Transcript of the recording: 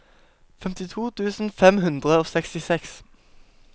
femtito tusen fem hundre og sekstiseks